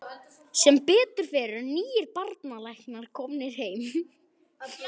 Sem betur fer eru nýir barnalæknar komnir heim.